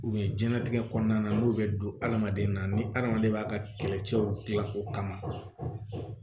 jiyɛn latigɛ kɔnɔna na n'o bɛ don hadamaden na ni hadamaden b'a ka kɛlɛcɛw gilan o kama